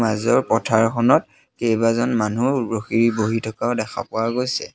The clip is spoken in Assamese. মাজৰ পথাৰখনত কেইবাজন মানুহ ৰখি বহি থকাও দেখা পোৱা গৈছে।